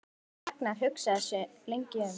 Ragnar hugsaði sig lengi um.